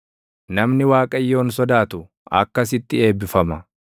Namni Waaqayyoon sodaatu akkasitti eebbifama.